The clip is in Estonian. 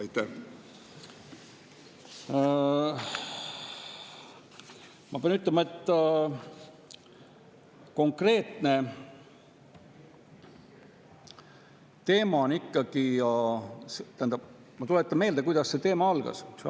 Ma tuletan meelde, kuidas selle teema algas.